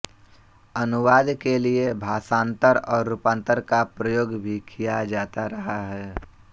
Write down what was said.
अनुवाद के लिए भाषान्तर और रूपान्तर का प्रयोग भी किया जाता रहा है